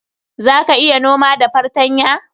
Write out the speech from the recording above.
Za ka iya noma da fartanya?